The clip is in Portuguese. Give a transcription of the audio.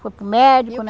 Foi para o médico, né.